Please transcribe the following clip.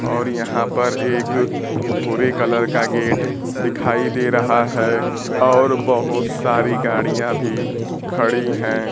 और यहां पर एक भूरे कलर का गेट दिखाई दे रहा है और बहोत सारी गाड़ियां भी खड़ी है।